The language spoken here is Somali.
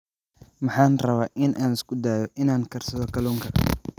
Waxaan rabaa in aan isku dayo in aan karsado kalluunka